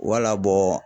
Wala bɔ